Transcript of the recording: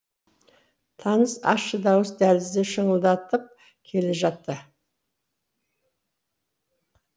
таныс ащы дауыс дәлізді шыңылдатып келе жатты